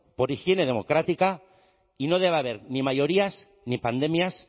por higiene democrática y no debe haber ni mayorías ni pandemias